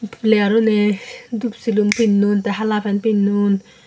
player une dup silum pinnon te hala pan pinnon.